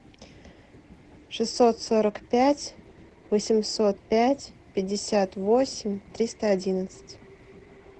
шестьсот сорок пять восемьсот пять пятьдесят восемь триста одиннадцать